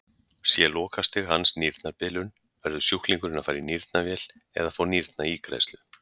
Sé lokastig hans nýrnabilun verður sjúklingurinn að fara í nýrnavél eða fá nýrnaígræðslu.